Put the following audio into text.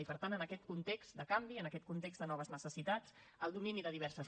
i per tant en aquest context de canvi en aquest context de noves necessitats el domini de diverses